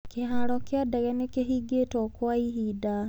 Kĩharo kĩa ndege nĩ kĩhingĩtwo kwa ihinda.